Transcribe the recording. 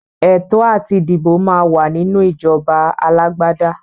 Ẹ̀tọ́ àti dìbò máa wà nínú ìjọba alágbádá.